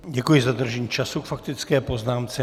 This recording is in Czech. Děkuji za dodržení času k faktické poznámce.